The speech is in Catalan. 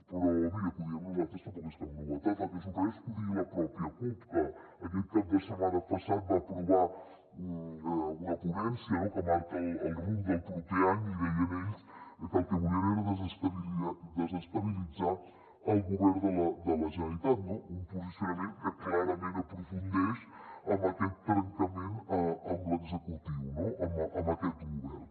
però mira que ho diguem nosaltres tampoc és cap novetat el que sorprèn és que ho digui la pròpia cup que aquest cap de setmana passat va aprovar una ponència que marca el rumb del proper any i deien ells que el que volien era desestabilitzar el govern de la generalitat un posicionament que clarament aprofundeix en aquest trencament amb l’executiu amb aquest govern